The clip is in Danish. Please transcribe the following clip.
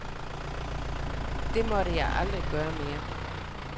Det måtte jeg aldrig gøre mere.